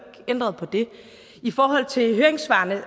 ændret på det i forhold til høringssvarene